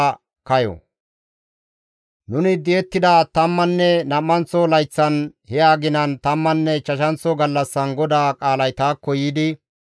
Nuni di7ettida tammanne nam7anththo layththan, he aginan, tammanne ichchashanththo gallassan GODAA qaalay taakko yiidi,